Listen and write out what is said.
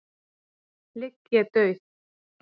ligg ég dauð.